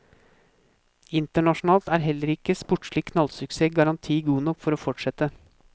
Internasjonalt er heller ikke sportslig knallsuksess garanti god nok for å fortsette.